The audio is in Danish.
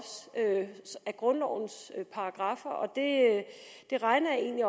af grundlovens paragraffer og det regner jeg egentlig